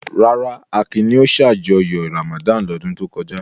Rárá, Akin ni ó ṣàjọyọ̀ Ramadan lọ́dún tó kọjá.